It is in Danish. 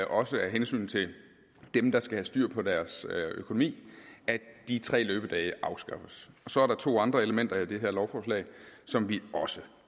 også af hensyn til dem der skal have styr på deres økonomi at de tre løbedage afskaffes og så er der to andre elementer i det her lovforslag som vi også